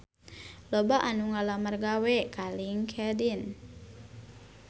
Loba anu ngalamar gawe ka Linkedin